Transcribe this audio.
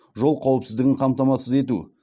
жол қауіпсіздігін қамтамасыз ету